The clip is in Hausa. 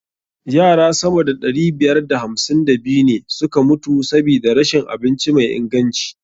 Yara sama da ɗari biyar da hamsin da biyu ne suka mutu sabida rashin abinci mai inganci.